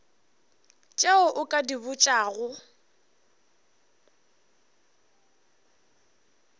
tše o ka di botšago